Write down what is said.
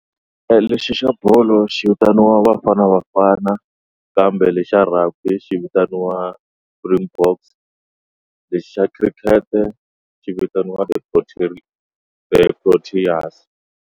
Lexi xa bolo xi vitaniwa Bafana Bafana kambe lexi xa rugby xi vitaniwa Springboks lexi xa cricket xi vitaniwa ti protein the Proteas.